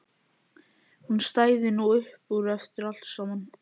Hún stæði nú upp úr eftir allt saman.